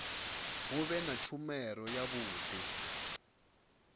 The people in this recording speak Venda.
hu vhe na tshumelo yavhudi